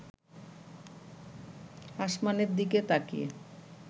আসমানের দিকে তাকিয়ে